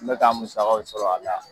N be ka n musakaw sɔrɔ a la